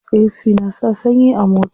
Ac na sa sanyi a mota.